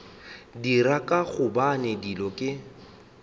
dira ka gobane dilo ke